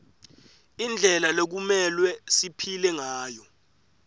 indlela lekumelwe siphile ngayo